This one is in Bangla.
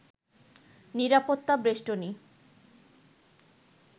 নিরাপত্তা বেষ্টনী